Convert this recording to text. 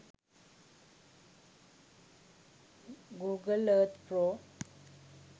google earth pro